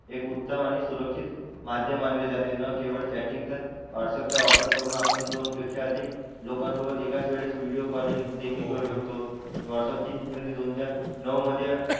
एक उत्तम आणि सुरक्षित माध्यम मानले जाते. न केवळ चॅटिंग तर व्हाट्सअप चा वापर करून आपण दोन पेक्षा अधिक लोकांसोबत एकाच वेळेस व्हिडीओ कॉलिंग देखील करू शकतो. व्हाट्सअप ची निर्मिती दोन हजार नऊ मध्ये,